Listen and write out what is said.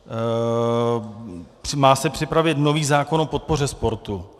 Má se připravit nový zákon o podpoře sportu.